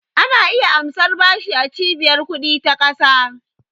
Ana iya amsar bashi a Cibiyar ƙudi ta ƙasa.